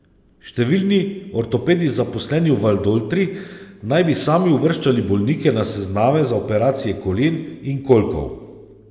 Številni ortopedi zaposleni v Valdoltri, naj bi sami uvrščali bolnike na sezname za operacije kolen in kolkov.